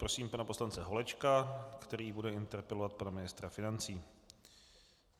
Prosím pana poslance Holečka, který bude interpelovat pana ministra financí.